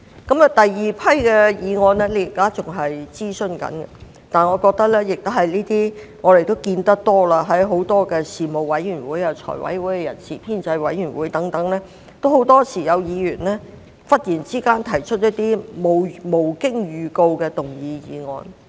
至於第二批擬議修訂，現正進行諮詢，但當中也涵蓋一些我們常見的情況，因為無論在事務委員會、財委會、人事編制委員會會議上，很多時均有議員忽然提出無經預告的議案。